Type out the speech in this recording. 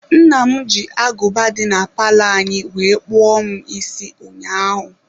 Nna m ji aguba dị na palọ anyị wee kpụọ m isi ụnyaahụ.